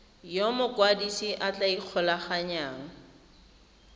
yo mokwadise a tla ikgolaganyang